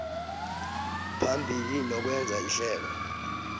phambili nokwenza ihlelo